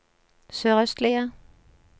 sørøstlige